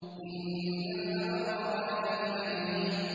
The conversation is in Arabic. إِنَّ الْأَبْرَارَ لَفِي نَعِيمٍ